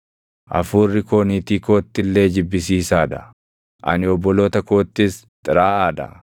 Hafuurri koo niitii kootti illee jibbisiisaa dha; ani obboloota koottis xiraaʼaa dha.